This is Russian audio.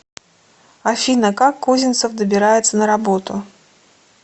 афина как козинцев добирается на работу